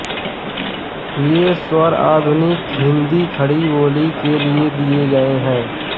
ये स्वर आधुनिक हिन्दी खड़ीबोली के लिये दिये गये हैं